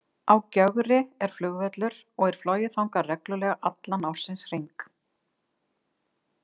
Á Gjögri er flugvöllur og er flogið þangað reglulega allan ársins hring.